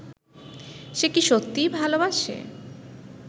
সে কি সত্যিই ভালোবাসে